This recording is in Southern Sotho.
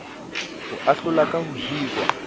ho ahlola ka ho hirwa